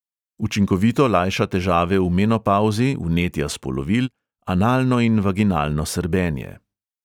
Učinkovito lajša težave v menopavzi, vnetja spolovil, analno in vaginalno srbenje.